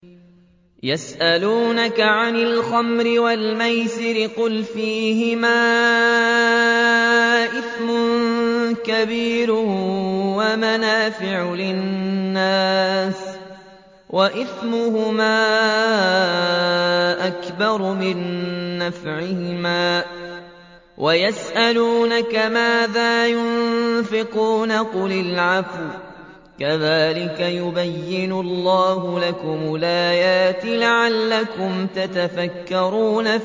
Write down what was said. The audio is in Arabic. ۞ يَسْأَلُونَكَ عَنِ الْخَمْرِ وَالْمَيْسِرِ ۖ قُلْ فِيهِمَا إِثْمٌ كَبِيرٌ وَمَنَافِعُ لِلنَّاسِ وَإِثْمُهُمَا أَكْبَرُ مِن نَّفْعِهِمَا ۗ وَيَسْأَلُونَكَ مَاذَا يُنفِقُونَ قُلِ الْعَفْوَ ۗ كَذَٰلِكَ يُبَيِّنُ اللَّهُ لَكُمُ الْآيَاتِ لَعَلَّكُمْ تَتَفَكَّرُونَ